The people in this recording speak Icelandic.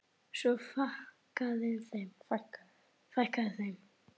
Og svo fækkaði þeim.